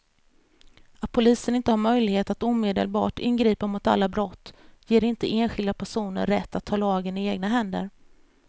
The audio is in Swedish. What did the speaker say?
Att polisen inte har möjlighet att omedelbart ingripa mot alla brott ger inte enskilda personer rätt att ta lagen i egna händer.